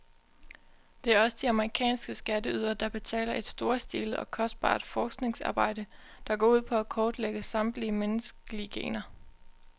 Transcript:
Det er også de amerikanske skatteydere, der betaler et storstilet og kostbart forskningsarbejde, der går ud på at kortlægge samtlige menneskelige gener.